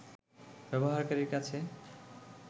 ব্যবহারকারীর কাছে